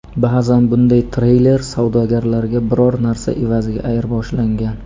Ba’zan bunday treyler savdogarlarga biror narsa evaziga ayirboshlangan.